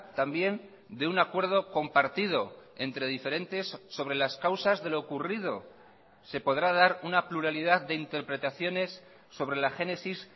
también de un acuerdo compartido entre diferentes sobre las causas de lo ocurrido se podrá dar una pluralidad de interpretaciones sobre la génesis